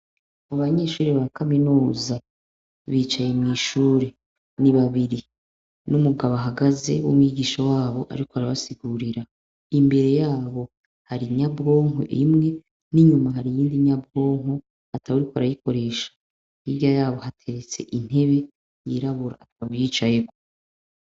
Mu banyeshure ba kaminuza, bicaye mw'ishuri. Ni babiri. N'umugabo ahagaze w'umwigisha wabo, ariko arabasigurira. Imbere yabo, hari inyabwonko imwe, n'inyuma hari iyindi nyabwonko, atawuriko arayikoresha. Hirya yabo hateretse intebe yirabura atawuyicayeko.